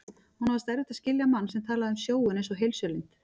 Honum fannst erfitt að skilja mann sem talaði um sjóinn einsog heilsulind.